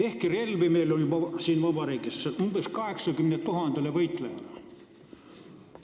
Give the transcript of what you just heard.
Ehkki relvi on meil siin vabariigis juba umbes 80 000 võitlejale.